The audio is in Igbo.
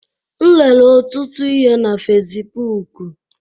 M rere ọtụtụ ihe na Facibụkụ